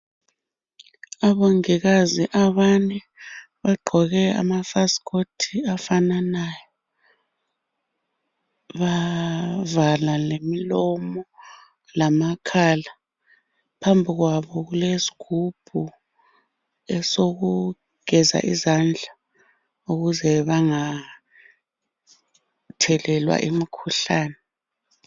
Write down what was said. Abongikazi abane bagqoke amafasikoti afananayo bavala lemilomo lamakhala phambi kwabo kulesigubhu esokugeza izandla ukuze bengathelelwa imikhuhlane